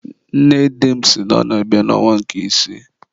nne di m sị na ọ na-abịa n'ọnwa nke isii.